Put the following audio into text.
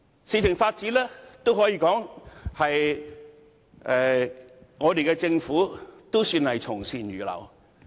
事情發展至此，政府也算是從善如流。